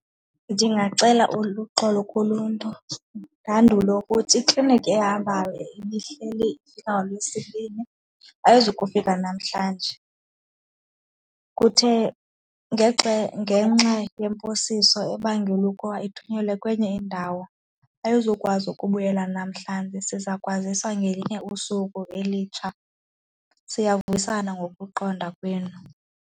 Ndingacela uluxolo kuluntu, ndandule ukuthi ikliniki ehambayo ibihleli ifika ngoLwesibini, ayizukufika namhlanje. Kuthe ngenxa yemposiso ebangela ukuba ithunyelwe kwenye indawo, ayizukwazi ukubuyela namhlanje. Siza kukwazisa ngelinye usuku elitsha, siyavuyisana ngokuqonda kwenu.